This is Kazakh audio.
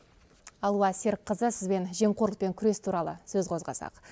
алуа серікқызы сізбен жемқорлықпен күрес туралы сөз қозғасақ